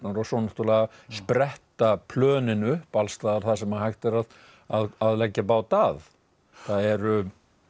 og svo náttúrulega spretta plönin upp alls staðar þar sem hægt er að leggja bát að það eru